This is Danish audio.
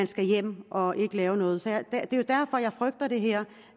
skal hjem og ikke lave noget særligt det er jo derfor jeg frygter det her